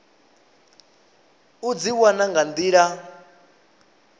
u dzi wana nga nḓila